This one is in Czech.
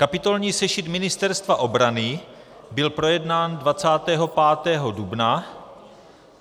Kapitolní sešit Ministerstva obrany byl projednán 25. dubna.